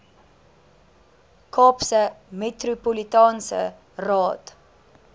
kaapse metropolitaanse raad